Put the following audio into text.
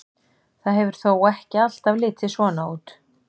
Það hefur þó ekki alltaf litið svona út.